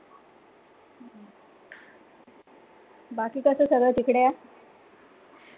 बाकी कसा सगळा तिकडे?